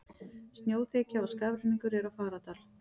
Snjóþekja og skafrenningur er á Fagradal